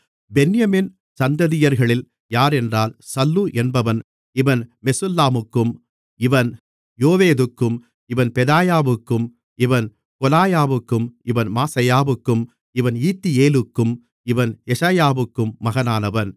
பென்யமீன் சந்ததியர்களில் யாரென்றால் சல்லு என்பவன் இவன் மெசுல்லாமுக்கும் இவன் யோவேதுக்கும் இவன் பெதாயாவுக்கும் இவன் கொலாயாவுக்கும் இவன் மாசெயாவுக்கும் இவன் ஈத்தியேலுக்கும் இவன் எஷாயாவுக்கும் மகனானவன்